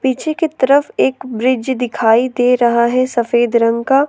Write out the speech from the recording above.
पीछे की तरफ एक ब्रिज दिखाई दे रहा है सफेद रंग का।